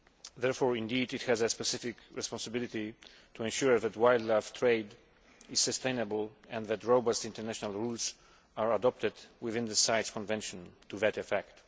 Therefore, it has a specific responsibility to ensure that wildlife trade is sustainable and that robust international rules are adopted within the CITES Convention to that effect.